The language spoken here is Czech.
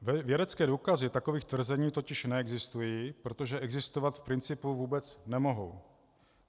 Vědecké důkazy takových tvrzení totiž neexistují, protože existovat v principu vůbec nemohou.